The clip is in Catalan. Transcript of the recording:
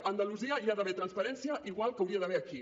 a andalusia hi ha d’haver transparència igual que n’hi hauria d’haver aquí